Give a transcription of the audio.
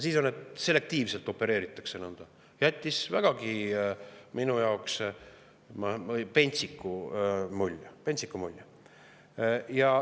See, et nõnda selektiivselt opereeritakse, jättis minule vägagi pentsiku mulje.